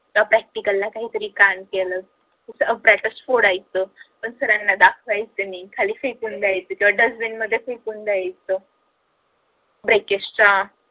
या practical ला काही तरी कांड केल brushes फोडायच पण सरांना दाखवायच नाही खाली फेकून द्यायच किंवा dustbin मध्ये फेकून द्यायच